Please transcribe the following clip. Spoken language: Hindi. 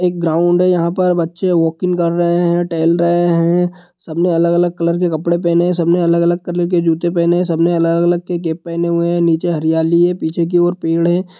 एक ग्राउंड है यहाँ पर बच्चे वाकिंग कर रहे है टहल रहे है सबने अलग-अलग कलर के कपड़े पहने है सबने अलग-अलग कलर के जुत्ते पहने है सबने अलग-अलग के कैप पहने हुए है नीचे हरियाली है पीछे की ओर पेड़ है।